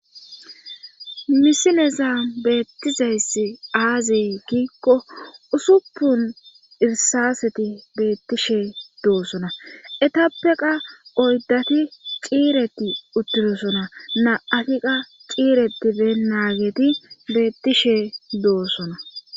misileza beettizayss aazi kiikko usuppun irsaaseti beettishee doosona etappeqa oyddati ciireti uttidosona na7afiqa ciire diben naageti beettishe doossona